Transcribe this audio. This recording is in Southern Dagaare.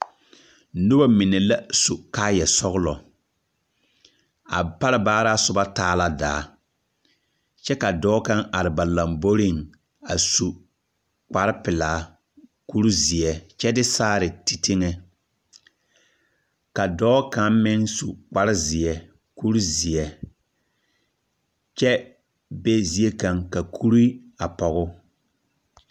Noba mine la su kaayԑ sͻgelͻ. A pare baaraa soba taa la daa. Kyԑ ka dͻͻ kaŋa are ba lomboriŋ a su kpare pelaa kuri zeԑ kyԑ de saare teŋԑŋ. Ka dͻͻ kaŋa meŋ su kpare zeԑ kuri zeԑ kyԑ be ziekaŋa ka kuri a pͻge o.